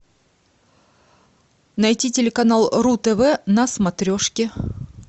найти телеканал ру тв на смотрешке